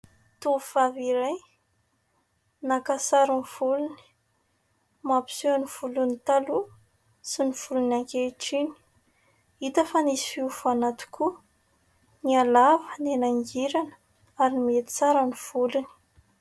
Tovovavy iray naka sary ny volony, mampiseho ny volony taloha sy ny volony ankehitriny. Hita fa nisy fiovana tokoa nihalava, nihanangirana ary nihatsara ny volony.